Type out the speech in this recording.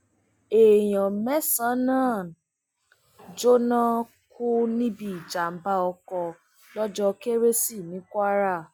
èèyàn mẹsànán jóná kú níbi ìjàmbá ọkọ lọjọ kérésì ní kwara